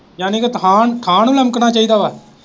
ਯਾਨੀ ਕਿ ਥਾਂਹ ਨੂੰ ਥਾਂਹ ਨੂੰ ਲਮਕਣਾ ਚਾਹੀਦਾ ਵਾ।